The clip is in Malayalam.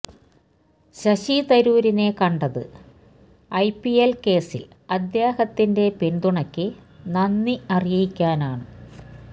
ശശി തരൂരിനെ കണ്ടത് ഐ പിഎൽ കേസിൽ അദ്ദേഹത്തിന്റെ പിന്തുണയ്ക്ക് നന്ദി അറിയിക്കാനാണ്